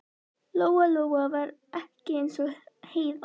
Lóa Lóa var ekki eins og Heiða